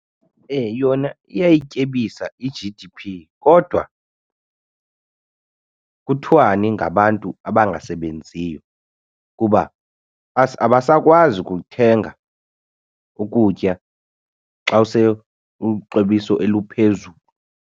Yona iyayityebisa i-G_D_P kodwa kuthwani ngabantu abangasebenziyo kuba abasakwazi ukuthenga ukutya xa use ixabiso eliphezulu.